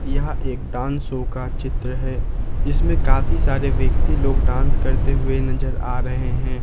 यह एक dance show का चित्र है जिसमें काफी सारे व्यक्ति लोग डांस करते हुए नजर आ रहे हैं।